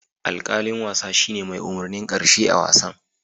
Alkalin wasa shine mai umurnin karshe a'wasan.